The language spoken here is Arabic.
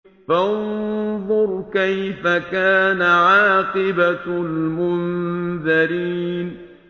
فَانظُرْ كَيْفَ كَانَ عَاقِبَةُ الْمُنذَرِينَ